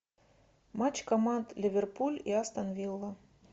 матч команд ливерпуль и астон вилла